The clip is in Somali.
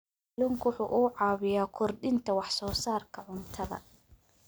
Kalluunku waxa uu caawiyaa kordhinta wax soo saarka cuntada.